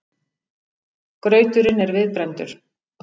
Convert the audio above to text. Grauturinn er viðbrenndur.